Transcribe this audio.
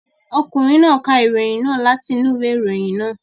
Ọkùnrin náà ka ìròyìn náà láti inú ìwé ìròyìn náà.